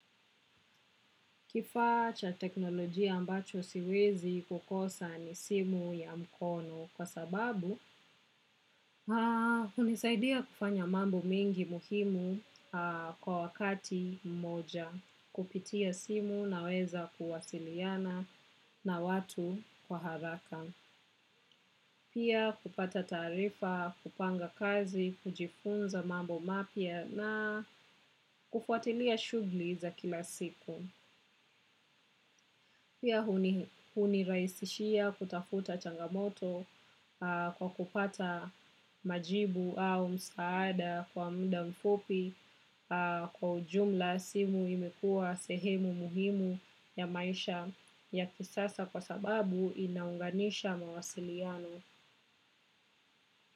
Kifaa cha teknolojia ambacho siwezi kukosa ni simu ya mkono kwa sababu hunisaidia kufanya mambo mingi muhimu kwa wakati mmoja. Kupitia simu naweza kuwasiliana na watu kwa haraka. Pia kupata taarifa, kupanga kazi, kujifunza mambo mapya na kufuatilia shughuli za kila siku. Pia hunirahisishia kutafuta changamoto kwa kupata majibu au msaada kwa muda mfupi kwa ujumla simu imekua sehemu muhimu ya maisha ya kisasa kwa sababu inaunganisha mawasiliano.